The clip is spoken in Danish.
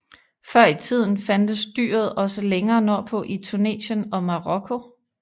Før i tiden fandtes dyret også længere nordpå i Tunesien og Marokko